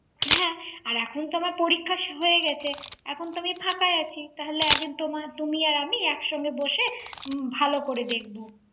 হ্যাঁ আর এখন তো আমার পরীক্ষা হয়ে গেছে এখন তো আমি ফাঁকা আছি তাহলে একদিন তুমি আর আমি একসঙ্গে বসে ভালো করে দেখব